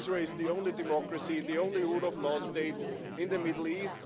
Israel is the only democracy, the only rule of law state in the Middle East.